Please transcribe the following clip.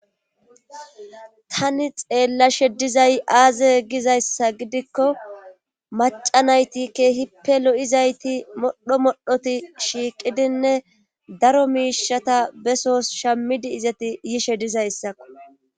tani xeellashe dizay aaze gizayssa gidikko maca naytike hippe lo7izayti modho modhoti shiiqidinne daro miishata besos shammidi izati yishe dizayssakko